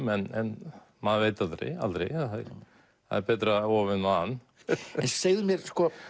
en maður veit aldrei aldrei það er betra of en van en segðu mér